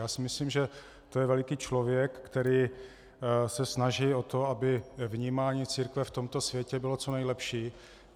Já si myslím, že to je veliký člověk, který se snaží o to, aby vnímání církve v tomto světě bylo co nejlepší.